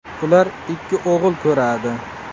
Ular ikki o‘g‘il ko‘radi.